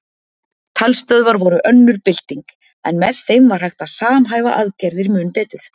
Talstöðvar voru önnur bylting en með þeim var hægt að samhæfa aðgerðir mun betur.